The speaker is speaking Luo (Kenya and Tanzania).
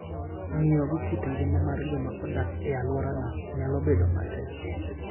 Ng'iyo gi kit ngima mar joma odak e alworano nyalo bedo matek.